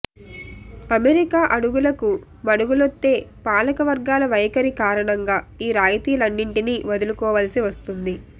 America అడుగులకు మడుగులొత్తే పాలక వర్గాల వైఖరి కారణంగా ఈ రాయితీలన్నింటిని వదులుకోవాల్సి వస్తోంది